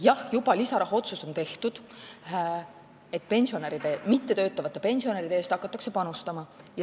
Jah, juba on lisarahaotsus tehtud, mittetöötavate pensionäride eest hakatakse panustama.